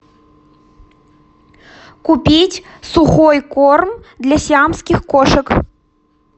купить сухой корм для сиамских кошек